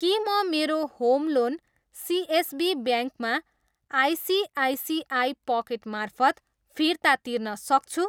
के म मेरो होम लोन सिएसबी ब्याङ्कमा आइसिआइसिआई पकेट मार्फत फिर्ता तिर्न सक्छु?